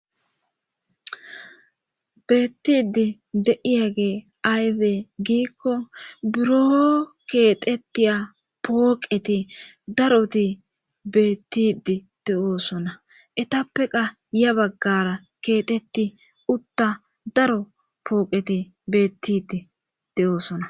beettidi de'iyagey aybe giikko buro keetettiya pooqeti daroti beettidi de7oosona etappeqa ya baggara keexetti utta daro pooqeti beettidi de7oosona